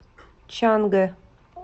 чангэ